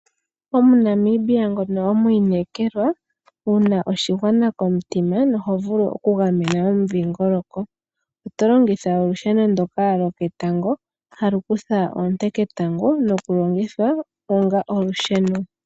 OmuNamibia ngono omwiinekelwa wuna oshigwana komutima noho vulu okugamena omudhiingoloko otolongitha olusheno ndoka loketango halu kutha oonte ketango noku longitha onga olusheno.